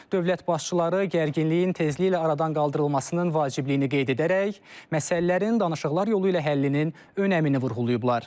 Dövlət başçıları gərginliyin tezliyi ilə aradan qaldırılmasının vacibliyini qeyd edərək, məsələlərin danışıqlar yolu ilə həllinin əhəmiyyətini vurğulayıblar.